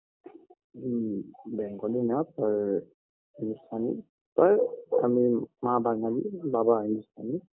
মম bengali না পার হিন্দুস্তানি পার আমি মা বাঙালি বাবা হিন্দুস্তানি